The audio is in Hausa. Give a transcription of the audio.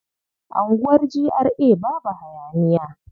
Anguwar GRA babu hayaniya.